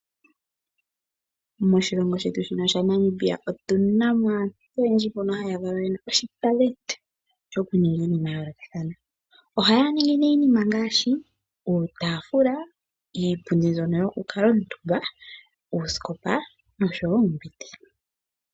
Moshilongo shetu shino shaNamibia otu na mo aantu oyendji mbono ya valwa ye na uunongo wokuninga iinima yayolokathana. Ohaya ningi nee iinima ngaashi uutaafula, iipundi mbyono yokukuutumba, uusikopa nosho oombete.